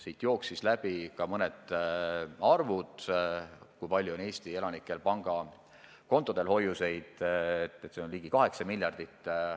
Siit jooksid läbi mõned arvud, kui palju on Eesti elanikel pangakontodel hoiuseid: see on ligi 8 miljardit.